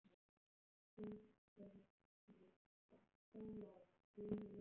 ÞÓRBERGUR: Sóla, þú hefur frelsað mig.